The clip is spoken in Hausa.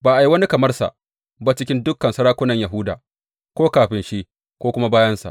Ba a yi wani kamar sa ba cikin dukan sarakunan Yahuda; ko kafin shi, ko kuma bayansa.